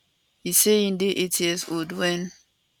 e say im dey eight years old wen